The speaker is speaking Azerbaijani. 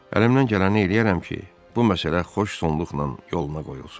Əlimdən gələni eləyərəm ki, bu məsələ xoş sonluqla yoluna qoyulsun.